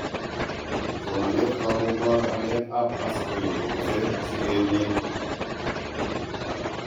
Somaneet kookokobor ameet ab asprin kotese sikeeetnyin